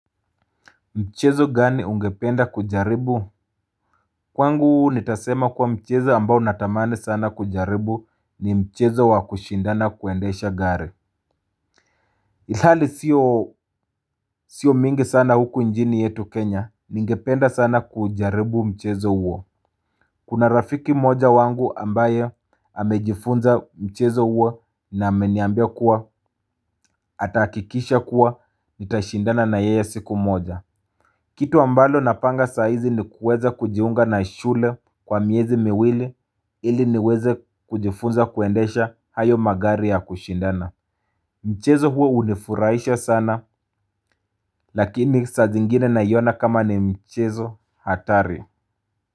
Mchezo gani ungependa kujaribu. Kwangu nitasema kuwa mchezo ambao natamani sana kujaribu ni mchezo wa kushindana kuendesha gari. Ilhali sio mingi sana huku njini yetu kenya ningependa sana kujaribu mchezo huo. Kuna rafiki moja wangu ambaye amejifunza mchezo huo na ameniambia kuwa atahakikisha kuwa nitashindana na yeye siku moja. Kitu ambalo napanga saizi ni kuweza kujiunga na shule kwa miezi miwili ili niweze kujifunza kuendesha hayo magari ya kushindana. Mchezo huo hunifurahisha sana. Lakini sa zingine naiona kama ni mchezo hatari.